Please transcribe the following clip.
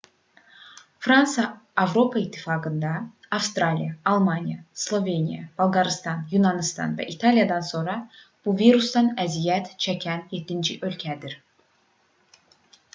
fransa avropa i̇ttifaqında avstriya almaniya sloveniya bolqarıstan yunanıstan və i̇taliyadan sonra bu virusdan əziyyət çəkən yeddinci ölkədir